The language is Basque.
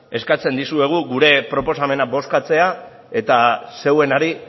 eskatzen dizuegu gure proposamena bozkatzea eta zeuenari